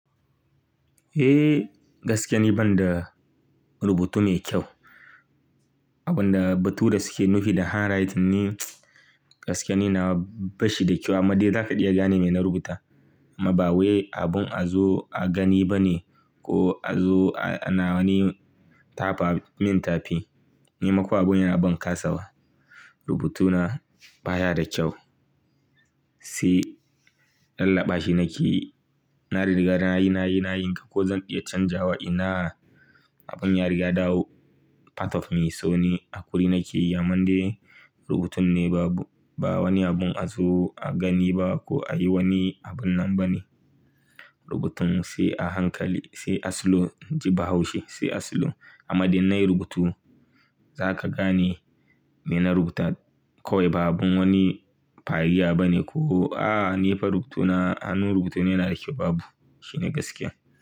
Eh, gaskiya ni banda rubutu ne kyau. Abun da bature yake nufi da handwriting ne, gaskiya ne nawa bashi da kyau amma dai zaka iya gane mai na rubuta. Amma ba wai abun a zo a gani ba ne ko a zo a na wani tafa min tafi. Ni ma kuwa abun yana ban kasawa. Rubutuna baya da kyau. Sai lallaɓa shi nake yi, na riga nayi nayi nayi in gan ko zan iya canjawa i na abun ya riga ɗawo part of me. So ni, a hakuri nake yi amma dai rubutun ne babu, ba wani abun a zo a gani ba ko a yi wani abin nan ba ne. Rubutun sai a hankali, sai a slow, inji Bahaushe, sai a slow. Amma dai in nayi rubutu zaka gane me na rubuta kawai ba abun wani fariya ba ne ko. A'a ni fa rubutuna, hannun rubutuna yana da kyau babu, shi ne gaskiya.